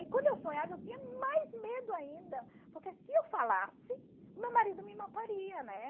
E quando eu sonhava eu tinha mais medo ainda, porque se eu falasse, o meu marido me mataria, né?